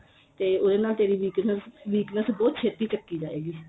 ਉਹਦੇ ਨਾਲ ਤੇਰੀ weakness ਬਹੁਤ ਛੇਤੀ ਚਕੀ ਜਾਏ ਗੀ